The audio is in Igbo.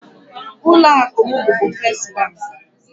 Ụlọ akụ m bubu Fes bank.